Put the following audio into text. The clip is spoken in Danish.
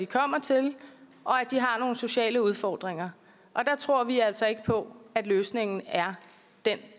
kommet til og at de har nogle sociale udfordringer og der tror vi altså ikke på at løsningen er den